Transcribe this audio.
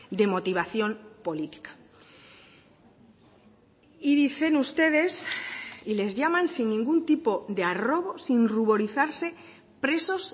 de motivación política y dicen ustedes y les llaman sin ningún tipo de arrobo sin ruborizarse presos